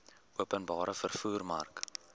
openbare vervoer mark